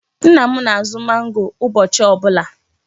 Nna m na-azụ mangoo ụbọchị ọ bụla.